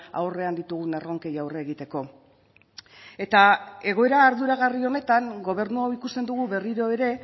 aurrean ditugun erronkei aurre egiteko eta egoera arduragarri honetan gobernu hau ikusten dugu berriro ere